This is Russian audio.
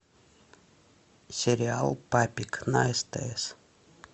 сериал папик на стс